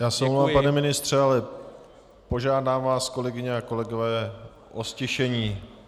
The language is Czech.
Já se omlouvám, pane ministře, ale požádám vás, kolegyně a kolegové, o ztišení.